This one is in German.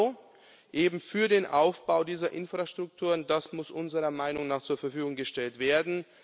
Euro eben für den Aufbau dieser Infrastruktur, und das muss unserer Meinung nach zur Verfügung gestellt werden.